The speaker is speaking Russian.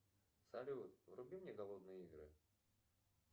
салют вруби мне голодные игры